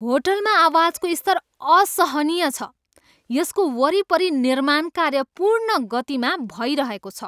होटलमा आवाजको स्तर असहनीय छ, यसको वरिपरि निर्माण कार्य पूर्ण गतिमा भइरहेको छ।